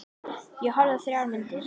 Ég horfði á þrjár myndir.